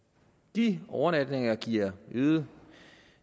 de overnatninger giver øgede